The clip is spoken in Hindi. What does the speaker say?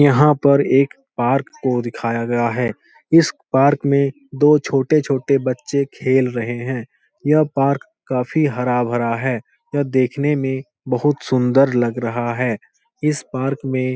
यहाँ पर एक पार्क को दिखाया गया है। इस पार्क में दो छोटे-छोटे बच्चे खेल रहें हैं। यह पार्क काफी हरा-भरा है। यह देखने में बहुत सुन्दर लग रहा है। इस पार्क में --